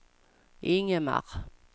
Ingemar